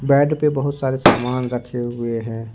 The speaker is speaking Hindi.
बेड पे बहुत सारे सामान रखे हुए हैं।